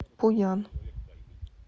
пуян